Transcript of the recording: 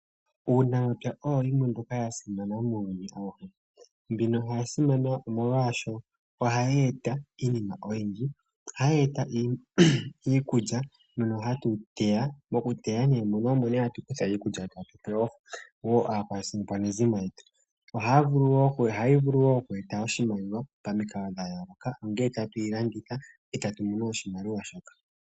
Uunamapya owo iinima mbyoka ya simana muuyuni. Mbino oya simana, molwashoka ohayi eta iinima oyindji. Ohayi eta iikulya mbyono hatu yi teya, moku teya mono omo nduno hatu kutha iikulya tatu pe wo aakwanezimo yetu. Ohayi vulu wo oku eta oshimaliwa pamikalo dha yooloka, ngele tatu yi landitha e tatu mono oshimaliwa shoka.